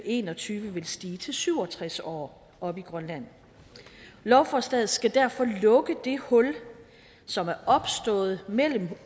en og tyve vil stige til syv og tres år oppe i grønland lovforslaget skal derfor lukke det hul som er opstået mellem